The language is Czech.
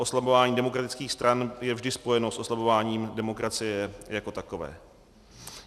Oslabování demokratických stran je vždy spojeno s oslabováním demokracie jako takové.